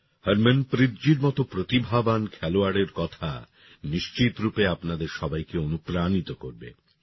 হরমনপ্রীতজির মতো প্রতিভাবান খেলোয়াড়ের কথা নিশ্চিতরূপে আপনাদের সবাইকে অনুপ্রাণিত করবে